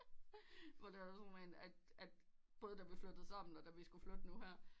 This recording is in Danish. Hvor der også var nogen at at både da vi flytted sammen og skulle flytte nu her